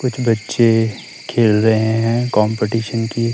कुछ बच्चे खेल रहे हैं कंपटीशन की--